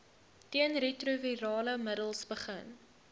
teenretrovirale middels begin